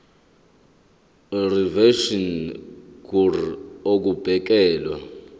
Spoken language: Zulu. reservation ngur ukubekelwa